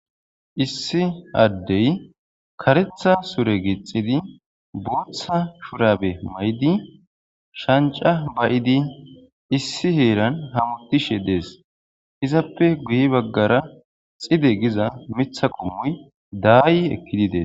Issi adey kareththa sure gixxidi booththa shurabbe mayidi shancca baiddi issi heeran hametishshe dess izzappe guye baggara xidde giza miththa qommoy dayi ekkidi dess.